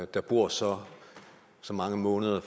der bor så så mange måneder